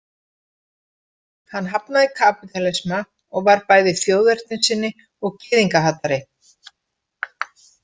Hann hafnaði kapítalisma og var bæði þjóðernissinni og gyðingahatari.